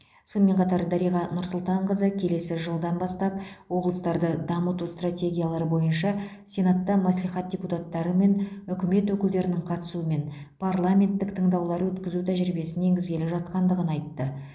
сонымен қатар дариға нұрсұлтанқызы келесі жылдан бастап облыстарды дамыту стратегиялары бойынша сенатта мәслихат депутаттары мен үкімет өкілдерінің қатысуымен парламенттік тыңдаулар өткізу тәжірибесін енгізгелі жатқандығын айтты